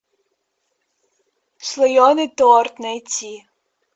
слоеный торт найти